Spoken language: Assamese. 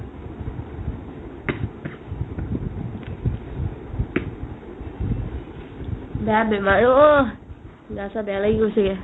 বাদ দে না আইঐ গা চা বেয়া লাগি গৈছেগে